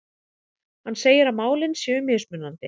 Hann segir að málin séu mismunandi